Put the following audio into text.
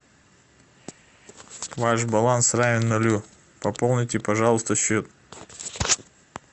ваш баланс равен нулю пополните пожалуйста счет